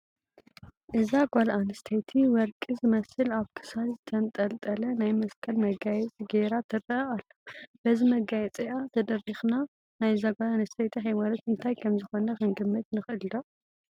እዛ ጓል ኣነስተይቲ ወርቂ ዝመስል ኣብ ክሳድ ዝተንጠልጠለ ናይ መስቀል መጋየፂ ገይራ ትርአ ኣላ፡፡ በዚ መጋየፂኣ ተደሪኽና ናይዛ ጓል ኣነስተይቲ ሃይማኖት እንታይ ከምዝኾነ ክንግምት ንኽእል ዶ?